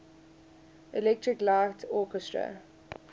electric light orchestra